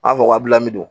An b'a fɔ kabila mi